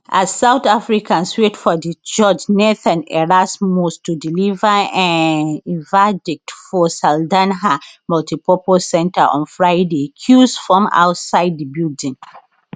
as south africans wait for di judge nathan erasmus to deliver um im verdict for saldanha multipurpose centre on friday queues form outside di building